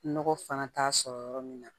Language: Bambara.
Nɔgɔ fana t'a sɔrɔ yɔrɔ min na